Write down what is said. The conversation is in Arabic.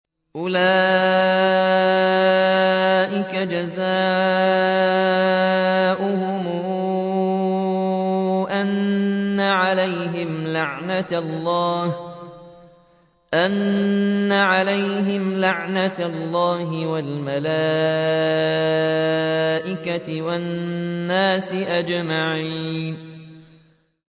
أُولَٰئِكَ جَزَاؤُهُمْ أَنَّ عَلَيْهِمْ لَعْنَةَ اللَّهِ وَالْمَلَائِكَةِ وَالنَّاسِ أَجْمَعِينَ